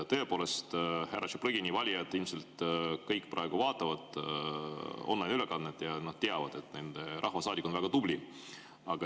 Tõepoolest, härra Tšaplõgini valijad ilmselt kõik vaatavad praegu online‑ülekannet ja nad teavad, et nende rahvasaadik on väga tubli.